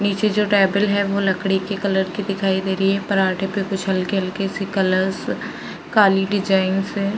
नीचे जो टेबल हैं। वो लकड़ी की कलर की दिखाई दे रही हैं। परांठे पे कुछ हल्की-हल्की सी कलर्स काली डिजाईन्स हैं ।